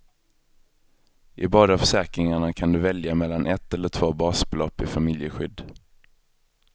I båda försäkringarna kan du välja mellan ett eller två basbelopp i familjeskydd.